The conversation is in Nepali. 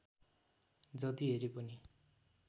जति हेरे पनि